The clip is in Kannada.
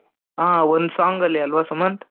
ಒಂದು song ಅಲ್ಲಿ ಅಲ್ವಾ ಸುಮಂತ್,